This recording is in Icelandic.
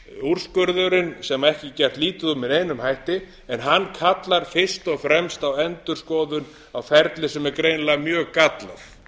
úrskurðurinn sem ekki er gert lítið úr með neinum hætti en hann kallar fyrst og fremst á endurskoðun á ferli sem er greinilega mjög gallað